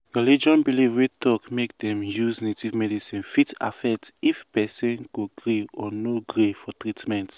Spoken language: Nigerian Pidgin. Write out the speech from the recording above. some groups dey do spiritual-based native healing wey need spiritual join medicine.